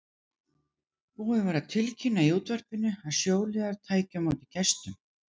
Búið var að tilkynna í útvarpinu að sjóliðar tækju á móti gestum.